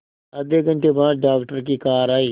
आधे घंटे बाद डॉक्टर की कार आई